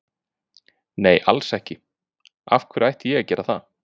Nei alls ekki, af hverju ætti ég að gera það?